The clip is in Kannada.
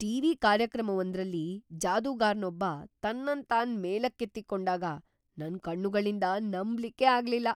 ಟಿವಿ ಕಾರ್ಯಕ್ರಮವೊಂದ್ರಲ್ಲಿ ಜಾದೂಗಾರನೊಬ್ಬ ತನ್ನನ್ ತಾನ್ ಮೇಲಕ್ಕೆತ್ತಿಕೊಂಡಾಗ ನನ್ ಕಣ್ಣುಗಳಿಂದ ನಮ್ಬಲಿಕ್ಕೆ ಆಗ್ಲಿಲ್ಲ.